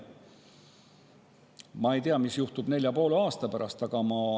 Ma ei tea, mis juhtub nelja ja poole aasta pärast.